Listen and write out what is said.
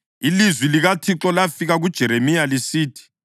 Ilizwi likaThixo lafika kuJeremiya lisithi: